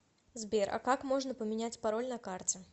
сбер а как можно поменять пароль на карте